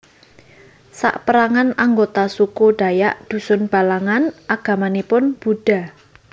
Saperangan anggota suku Dayak Dusun Balangan agamanipun Buddha